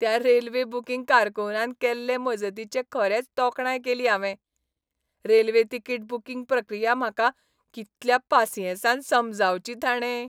त्या railway booking कारकुनान केल्ले मजतीची खरेंच तोखणाय केली हांवें. रेल्वे तिकीट बुकींग प्रक्रिया म्हाका कितल्या पासियेंसान समजावची ताणें!